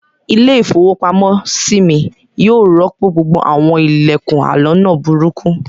Ilé-ìfowópamọ́sí mi yóò rọ́pò gbogbo àwọn ilẹ̀kùn aloná burúkú.